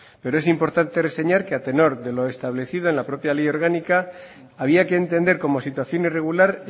pero es importante reseñar que a tenor de lo establecido en la propia ley orgánica había que entender como situación irregular